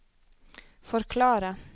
forklare